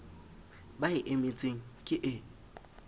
ba e emetseng ke e